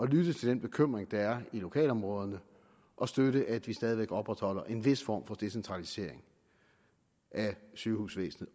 lytte til den bekymring der er i lokalområderne og støtte at vi stadig væk opretholder en vis form for decentralisering af sygehusvæsenet